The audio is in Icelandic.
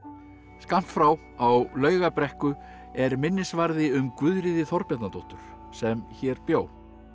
skammt frá á Laugabrekku er minnisvarði um Guðríði Þorbjarnardóttur sem hér bjó